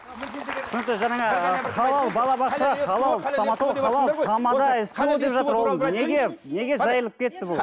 түсінікті жаңағы халал балабақша халал стоматолог неге жайылып кетті бұл